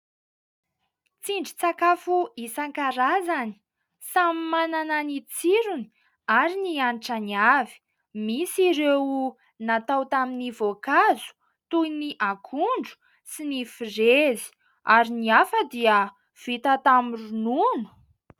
Tsindrin-tsakafo isankarazany samy manana ny tsirony ary ny hanitrany avy, misy ireo natao tamin'ny voankazo toy ny akondro sy ny firezy ary ny hafa dia vita tamin'ny ronono.